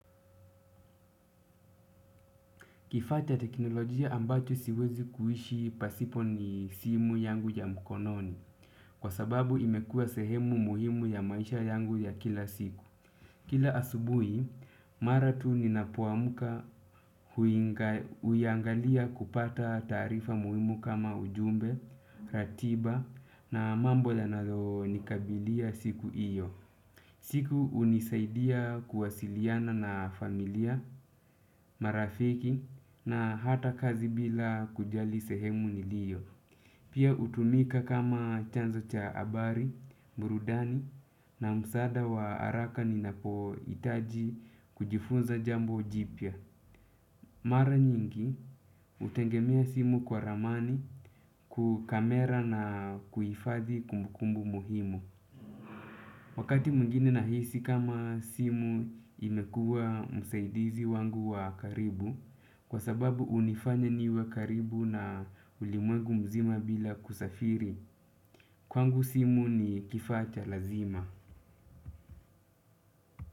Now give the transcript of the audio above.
Kifaa cha teknolojia ambacho siwezi kuishi pasipo ni simu yangu ya mkononi. Kwa sababu imekua sehemu muhimu ya maisha yangu ya kila siku. Kila asubuhi, mara tu ninapoamka huiangalia kupata taarifa muhimu kama ujumbe, ratiba na mambo yanayonikabilia siku hiyo. Siku hunisaidia kuwasiliana na familia, marafiki na hata kazi bila kujali sehemu niliyo. Pia hutumika kama chanzo cha habari, burudani na msaada wa haraka ninapohitaji kujifunza jambo jipya. Mara nyingi hutegemea simu kwa ramani kukamera na kuhifadhi kumbukumbu muhimu. Wakati mwingine nahisi kama simu imekua msaidizi wangu wa karibu kwa sababu hunifanya niwe karibu na ulimwengu mzima bila kusafiri kwangu simu ni kifaa cha lazima.